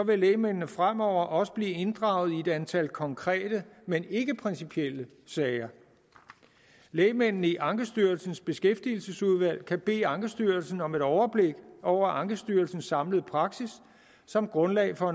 vil lægmændene fremover også blive inddraget i et antal konkrete men ikkeprincipielle sager lægmændene i ankestyrelsens beskæftigelsesudvalg kan bede ankestyrelsen om et overblik over ankestyrelsens samlede praksis som grundlag for